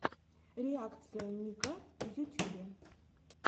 реакция ника в ютюбе